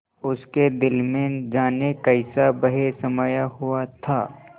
उसके दिल में जाने कैसा भय समाया हुआ था